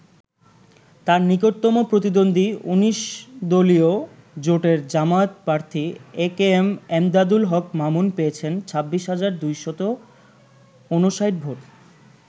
তার নিকটতম প্রতিদ্বন্দ্বী ১৯ দলীয় জোটের জামায়াত প্রার্থী একেএম এমদাদুল হক মামুন পেয়েছেন ২৬ হাজার ২৫৯ ভোট।